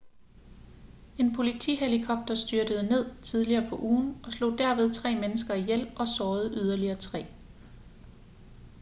en politihelikopter styrtede ned tidligere på ugen og slog derved tre mennesker ihjel og sårede yderligere tre